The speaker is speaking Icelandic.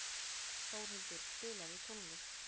Þórhildur, spilaðu tónlist.